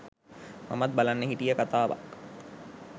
මමත් බලන්න හිටිය කතාවක්.